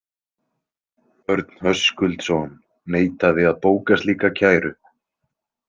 Örn Höskuldson neitaði að bóka slíka kæru.